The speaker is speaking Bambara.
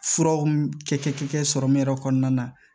Furaw kɛ sɔrɔmu yɛrɛ kɔnɔna na